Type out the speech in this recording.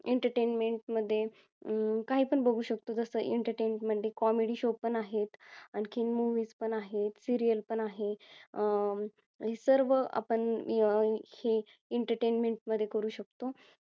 entertainment मध्ये काय पण बघू शकतो जसं entertainment मध्ये comedy show पण आहेत आणखीन movies पण आहेत serial पण आहे अं हे सर्व आपण ही~ entertainment मध्ये करू शकतो